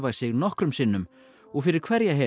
sig nokkrum sinnum og fyrir hverja